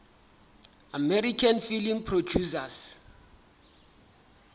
american film producers